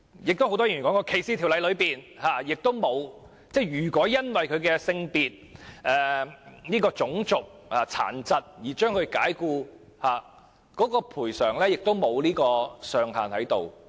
很多議員也說，在反歧視的法例中，如僱主因僱員的性別、種族或殘疾而將其解僱，有關的賠償也不設上限。